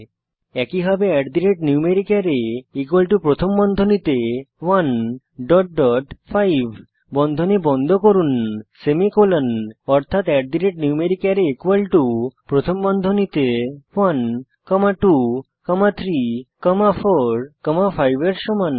একইভাবে numericArray প্রথম বন্ধনীতে 1 ডট ডট 5 বন্ধনী বন্ধ করুন সেমিকোলন অর্থাত numericArray প্রথম বন্ধনীতে 1 কমা 2 কমা 3 কমা 4 কমা 5 এর সমান